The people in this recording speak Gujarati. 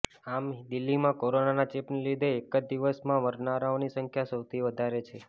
આમ દિલ્હીમાં કોરોનાના ચેપના લીધે એક જ દિવસમાં મરનારાઓની સંખ્યા સૌથી વધારે છે